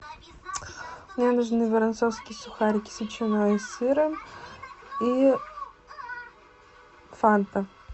мне нужны воронцовские сухарики с ветчиной и сыром и фанта